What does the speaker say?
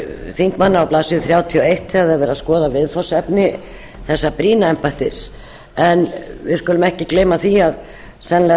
þingmanna á blaðsíðu þrjátíu og eitt þegar er verið að skoða viðfangsefni þessa brýna embættis en við skulum ekki gleyma því að sennilega